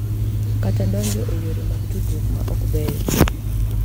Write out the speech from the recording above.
Kata donjo e yore mag tudruok ma ok beyo,